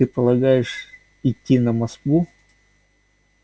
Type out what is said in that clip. а ты полагаешь идти на москву